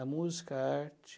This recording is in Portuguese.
A música, a arte.